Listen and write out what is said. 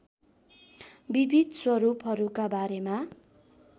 विविध स्वरूपहरूका बारेमा